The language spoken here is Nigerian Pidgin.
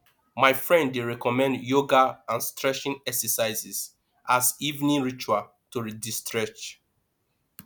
my friend dey recommend yoga and stretching exercises as evening ritual to destress